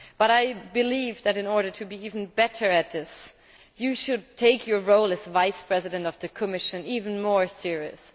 I believe, though, that to be even better at this, you should take your role as Vice President of the Commission even more seriously.